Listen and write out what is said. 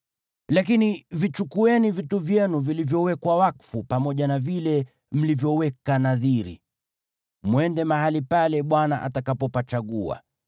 Lakini vichukueni vitu vyenu vilivyowekwa wakfu pamoja na vile mlivyoweka nadhiri, mwende mahali pale Bwana atakapopachagua.